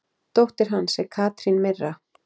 Dóttir hans er Katrín Mirra.